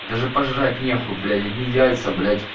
даже пожрать нехуй блять одни яйца блять